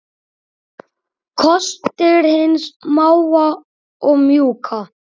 Kostir hins smáa og mjúka